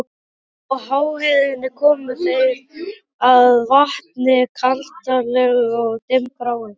Á háheiðinni komu þeir að vatni, kaldranalegu og dimmgráu.